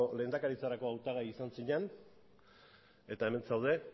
lehendakaritzarako hautagai izan zinan eta hemen zaude